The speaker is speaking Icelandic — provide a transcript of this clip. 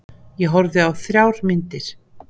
Ég horfði á þrjár myndir.